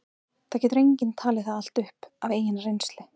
það getur enginn talið það allt upp af eigin reynslu